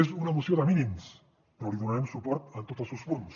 és una moció de mínims però li donarem suport en tots els seus punts